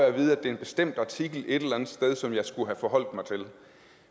at vide at det er en bestemt artikel et eller andet sted som jeg skulle have forholdt mig til